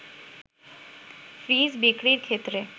fridge বিক্রির ক্ষেত্রে